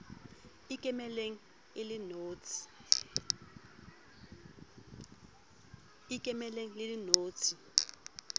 e ikemelang e le notshi